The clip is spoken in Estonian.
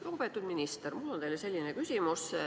Lugupeetud minister, mul on teile selline küsimus.